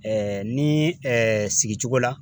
ni sigi cogo la